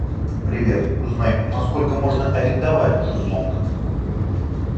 привет узнай на сколько можно арендовать шезлонг